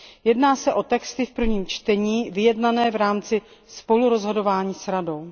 Jedná se o texty v prvním čtení vyjednané v rámci spolurozhodování s Radou.